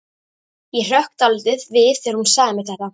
Ég hrökk dálítið við þegar hún sagði mér þetta.